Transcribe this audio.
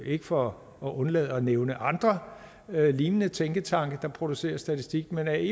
ikke for at undlade at nævne andre lignende tænketanke der producerer statistik men ae